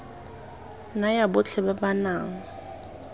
naya botlhe ba ba nang